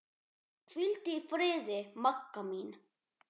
Hvíldu í friði, Magga mín.